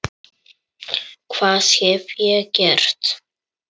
Hvað hef ég gert?